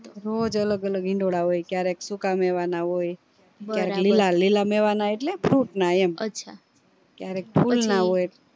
રોજ અલગ અલગ હિંડોળા હોય ક્યારેક સુકા મેવા ના હોય ક્યારે લીલા લીલા મેવા ને એટલે fruit ના એમ ક્યારેક ફૂલ ના હોય એમ